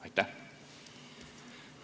Aitäh!